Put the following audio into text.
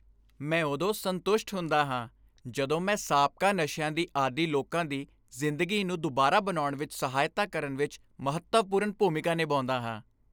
ਮੈਂ ਉਦੋਂ ਸੰਤੁਸ਼ਟ ਹੁੰਦਾ ਹਾਂ ਜਦੋਂ ਮੈਂ ਸਾਬਕਾ ਨਸ਼ਿਆਂ ਦੇ ਆਦੀ ਲੋਕਾਂ ਦੀ ਜ਼ਿੰਦਗੀ ਨੂੰ ਦੁਬਾਰਾ ਬਣਾਉਣ ਵਿੱਚ ਸਹਾਇਤਾ ਕਰਨ ਵਿੱਚ ਮਹੱਤਵਪੂਰਨ ਭੂਮਿਕਾ ਨਿਭਾਉਂਦਾ ਹਾਂ।